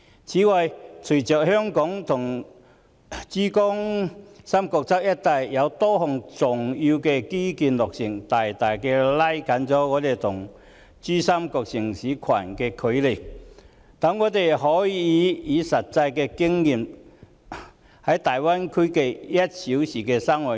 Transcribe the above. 此外，隨着香港與珠三角一帶多項重要基建落成，大大拉近了我們與珠三角城市群的距離，讓我們可實際體驗大灣區 "1 小時生活圈"。